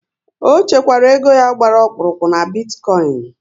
Ọ chekwara ego ya gbara ọkpụrụkpụ n'bitikoin